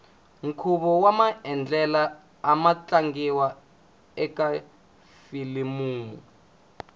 nkhuvo wamandlela amu tlangiwa ekafilimu